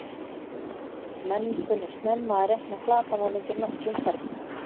Menn kunnu snemma að reikna flatarmál undir nokkrum ferlum.